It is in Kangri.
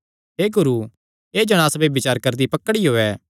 हे गुरू एह़ जणांस ब्यभिचार करदी पकड़ियो ऐ